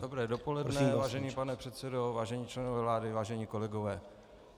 Dobré dopoledne, vážený pane předsedo, vážení členové vlády, vážení kolegové.